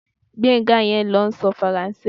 Gbénga yẹn ló ń sọ Faransé